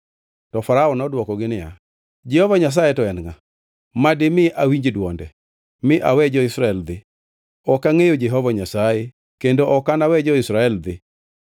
To Farao nodwokogi niya, “Jehova Nyasaye to en ngʼa, ma dimi awinj dwonde mi awe jo-Israel dhi? Ok angʼeyo Jehova Nyasaye kendo ok anawe jo-Israel dhi.”